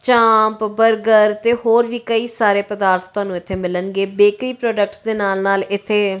chaap burger ਤੇ ਹੋਰ ਵੀ ਕਈ ਸਾਰੇ ਪਦਾਰਥ ਤੁਹਾਨੂੰ ਇੱਥੇ ਮਿਲਣਗੇ ਬੇਕਰੀ ਪ੍ਰੋਡਕਟਸ ਦੇ ਨਾਲ-ਨਾਲ ਇੱਥੇ --